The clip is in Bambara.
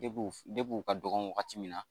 Deb'u de b'u ka dɔgɔn wagati min na